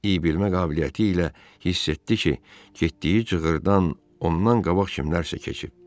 İybilmə qabiliyyəti ilə hiss etdi ki, getdiyi cığırdan ondan qabaq kimsə keçib.